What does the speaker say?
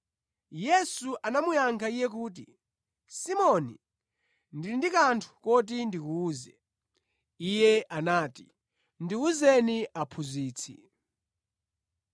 Yesu anamuyankha iye kuti, “Simoni, ndili ndi kanthu koti ndikuwuze.” Iye anati, “Ndiwuzeni Aphunzitsi.”